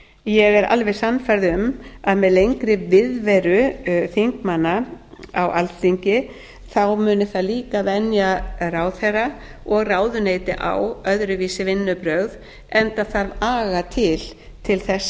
ég er alveg sannfærð um að með lengri viðveru þingmanna á alþingi muni það líka venja ráðherra og ráðuneyti á öðruvísi vinnubrögð enda þarf aga til þess